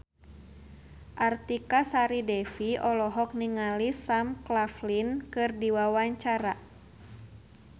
Artika Sari Devi olohok ningali Sam Claflin keur diwawancara